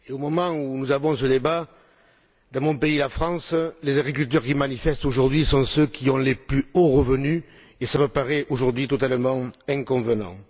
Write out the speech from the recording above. Au moment où nous menons ce débat, dans mon pays, la France, les agriculteurs qui manifestent aujourd'hui sont ceux qui ont les plus hauts revenus, ce qui me paraît totalement inconvenant.